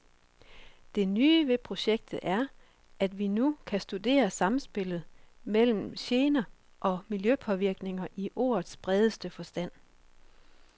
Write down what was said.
Det nye ved projektet er, at vi nu kan studere samspillet mellem gener og miljøpåvirkninger i ordets bredeste forstand.